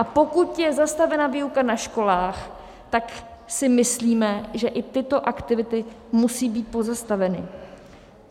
A pokud je zastavena výuka na školách, tak si myslíme, že i tyto aktivity musí být pozastaveny.